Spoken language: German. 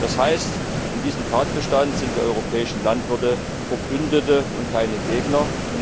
Das heißt, in diesem Tatbestand sind die europäischen Landwirte Verbündete und keine Gegner.